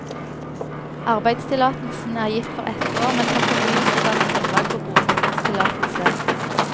Arbeidstillatelsen er gitt for ett år, men kan fornyes og danne grunnlag for bosettingstillatelse.